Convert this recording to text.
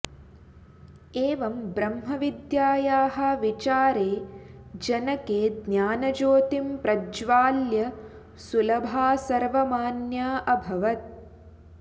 एवं ब्रह्मविद्यायाः विचारे जनके ज्ञानज्योतिं प्रज्वाल्य सुलभा सर्वमान्या अभवत्